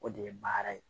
O de ye baara ye